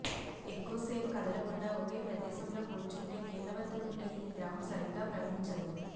ఎక్కువసేపు కదలకుండా ఒకే ప్రదేశంలో కూర్చుంటే కీళ్ల వద్ద ఉండే ఈ ద్రవం సరిగ్గా ప్రవహించదు